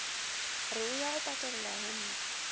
re o ya go patelelahempe